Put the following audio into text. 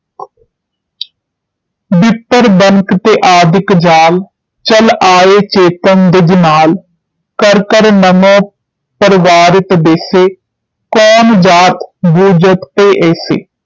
ਬਿੱਪ ਬਨਕ ਤੇ ਆਦਿਕ ਜਾਲ ਚਲਿ ਆਏ ਚੇਤਨਾ ਦਿਜ ਨਾਲ ਕਰਿ ਕਰਿ ਨਮ ਪ੍ਰਵਾਰਿਤ ਬੈਸੇ। ਧੰਨ ਜਾਤਿ ਬੂਝਤਿ ਤੇ ਐਸੇ